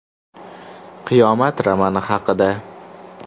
“Qiyomat” romani haqida.